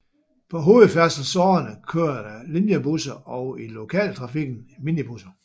På hovedfærdselsårerne kører der linjebusser og i lokaltrafikken minibusser